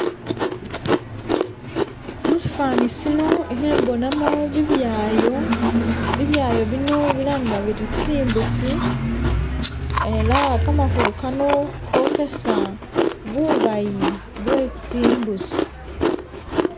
Mushifani shino ikhembonamo bibyayo, bibyayo bino bilangiwa biri zimbusi ela gamakulu gano gogesa bubayi bwe zimbusi,